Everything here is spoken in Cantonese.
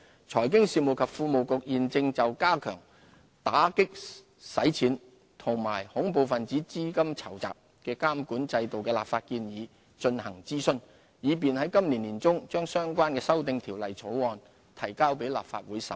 財經事務及庫務局現正就加強打擊洗錢及恐怖分子資金籌集監管制度的立法建議進行諮詢，以便在今年年中把相關修訂條例草案提交立法會審議。